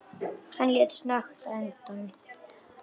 Hann leit snöggt undan.